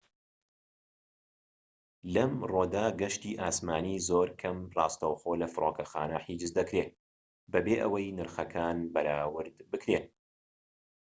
لەمڕۆکەدا گەشتی ئاسمانی زۆر کەم ڕاستەوخۆ لە فرۆکەخانە حیجز دەکرێت بەبێ ئەوەی نرخەکان بەراورد بکرێن